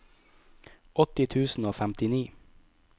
åtti tusen og femtini